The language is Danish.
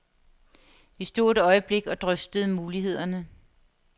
Vi stod et øjeblik og drøftede mulighederne.